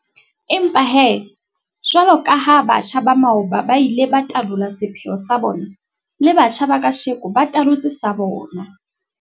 Empa he, jwaloka ha batjha ba maoba ba ile ba talola sepheo sa bona, le batjha ba kajeno ba talotse sa bona.